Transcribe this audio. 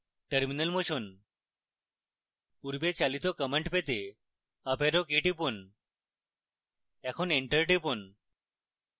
terminal মুছুন পূর্বে চালিত command পেতে up arrow key টিপুন এখন enter টিপুন